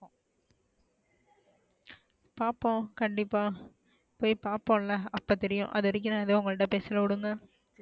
பாப்போம் கண்டிப்பா போய் பாப்போம்ல அப்பா தெரியும் அது வரைக்கும் ஏதுவும் உங்ககிட்ட பேசல விடுங்க.